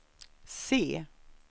C